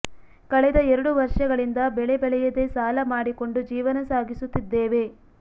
ಕಳೆದ ಎರಡು ವರ್ಷಗಳಿಂದ ಬೆಳೆ ಬೆಳೆಯದೆ ಸಾಲ ಮಾಡಿಕೊಂಡು ಜೀವನ ಸಾಗಿಸುತ್ತಿದ್ದೇವೆ